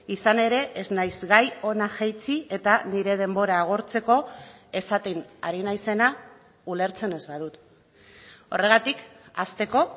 izan ere ez naiz gai hona jaitsi eta nire denbora agortzeko esaten ari naizena ulertzen ez badut horregatik hasteko